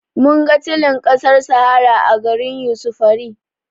Mun ga tulin ƙasar sahara a garin yusufari